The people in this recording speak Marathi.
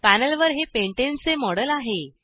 पॅनलवर हे पेंटाने पॅन्टेन चे मॉडेल आहे